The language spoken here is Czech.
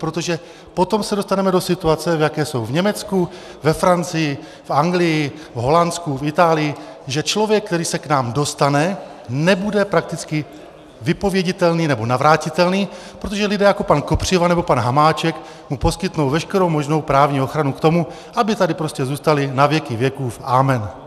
Protože potom se dostaneme do situace, v jaké jsou v Německu, ve Francii, v Anglii, v Holandsku, v Itálii, že člověk, který se k nám dostane, nebude prakticky vypověditelný nebo navrátitelný, protože lidé jako pan Kopřiva nebo pan Hamáček mu poskytnou veškerou možnou právní ochranu k tomu, aby tady prostě zůstali na věky věků amen.